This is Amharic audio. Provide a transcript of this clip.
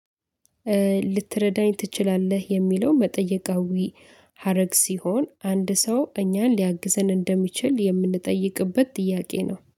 ልትረዳኝ ትችላለህ የሚለው መጠየቃዊ ሀረግ ሲሆን አንድ ሰው እኛን ሊያግዘን እንደሚችል የምንጠይቅበት ጥያቄ ነው